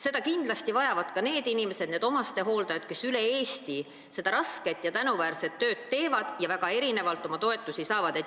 Seda vajavad kindlasti ka need omastehooldajad, kes üle Eesti seda rasket ja tänuväärset tööd teevad ning väga erinevalt toetust saavad.